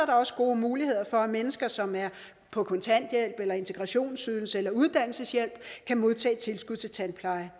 også gode muligheder for at mennesker som er på kontanthjælp integrationsydelse eller uddannelseshjælp kan modtage tilskud til tandpleje